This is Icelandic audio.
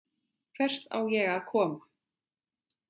Hvert á ég að koma?